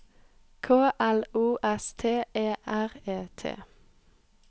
K L O S T E R E T